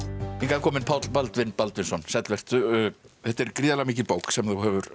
kominn Páll Baldvin Baldvinsson sæll vertu þetta er gríðarlega mikil bók sem þú hefur